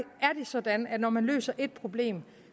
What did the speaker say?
er sådan at når man løser et problem